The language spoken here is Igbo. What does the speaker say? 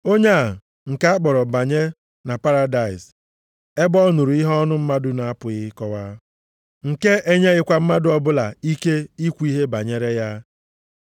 onye a, nke a kpọọrọ banye na paradaịs, ebe ọ nụrụ ihe ọnụ mmadụ na-apụghị ịkọwa, nke e nyeghịkwa mmadụ ọbụla ike ikwu ihe banyere ya.